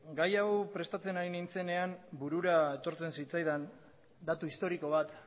gai hau prestatzen ari nintzenean burura etortzen zitzaidan datu historiko bat